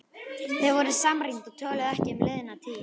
Þau voru samrýnd og töluðu ekki um liðna tíð.